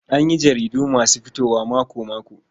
An yi jaridu masu fitowa mako-mako.